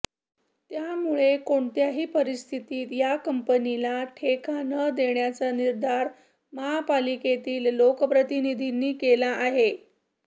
त्यामुळे कोणत्याही परिस्थितीत या कंपनीला ठेका न देण्याचा निर्धार महापालिकेतील लोकप्रतिनिधींनी केला आहे